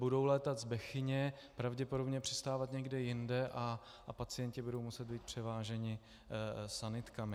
Budou létat z Bechyně, pravděpodobně přistávat někde jinde a pacienti budou muset být převáženi sanitkami.